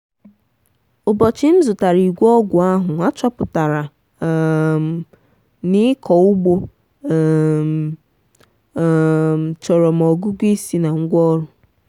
ụbọchị m zụtara igwe ọgwụ ahụ achọpụtara um m na ịkọ ugbo um um chọrọ ma ọgụgụ isi na ngwaọrụ.